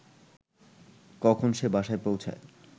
কখন সে বাসায় পৌঁছায়